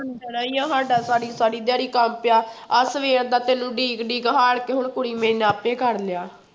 ਪੈਣਾ ਹੀ ਆ ਸਾਡਾ ਸਾਰੀ ਸਾਰੀ ਦਿਹਾੜੀ ਕੰਮ ਪਿਆ, ਆਹ ਸਵੇਰ ਦਾ ਤੈਨੂੰ ਉਡੀਕ ਉਡੀਕ ਹਾਰ ਕੇ ਹੁਣ ਕੁੜੀ ਮੇਰੀ ਨੇ ਆਪੇ ਕਰ ਲਿਆ।